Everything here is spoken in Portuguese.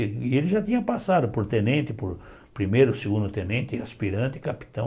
E ele já tinha passado por tenente, por primeiro, segundo tenente, aspirante, capitão.